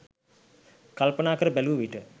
කල්පනා කර බැලූ විට